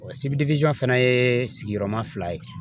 fana ye sigiyɔrɔma fila ye